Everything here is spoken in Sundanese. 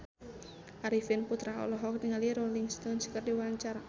Arifin Putra olohok ningali Rolling Stone keur diwawancara